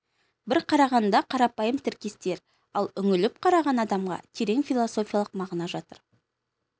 бір қарағанда қарапайым тіркестер ал үңіліп қараған адамға терең философиялық мағына жатыр